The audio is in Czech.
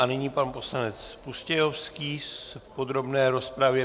A nyní pan poslanec Pustějovský v podrobné rozpravě.